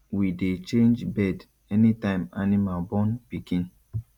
we dey change bed anytime animal born pikin